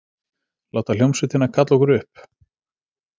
Láta hljómsveitina kalla okkur upp?